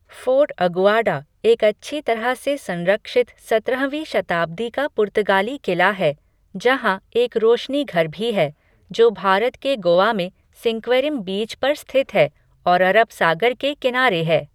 Fort Aguada एक अच्छी तरह से संरक्षित सत्रहवीं शताब्दी का पुर्तगाली किला है, जहाँ एक रोशनीघर भी है, जो भारत के गोवा में सिंक्वेरीम बीच पर स्थित है और अरब सागर के किनारे है।